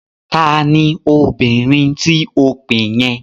Ta ni obìnrin tí o pè yẹn?